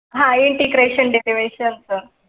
हा integration derivation form.